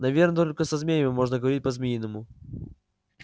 наверно только со змеями можно говорить по-змеиному